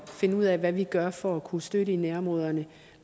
finde ud af hvad vi gør for at kunne støtte i nærområderne